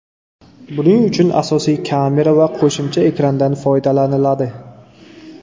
Buning uchun asosiy kamera va qo‘shimcha ekrandan foydalaniladi.